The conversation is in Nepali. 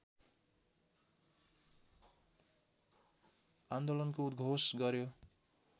आन्दोलनको उद्घोष गर्‍यो